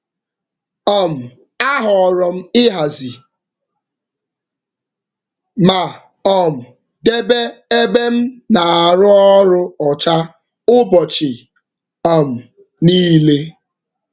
um Ahọrọ m ịhazi ma um debe ebe m na-anọ arụ ọrụ ọcha ụbọchị um niile.